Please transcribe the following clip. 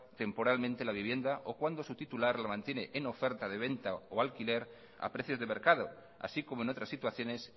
temporalmente la vivienda o cuando su titular la mantiene en oferta de venta o alquiler a precios de mercado así como en otras situaciones